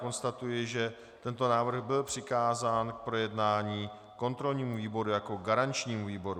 Konstatuji, že tento návrh byl přikázán k projednání kontrolnímu výboru jako garančnímu výboru.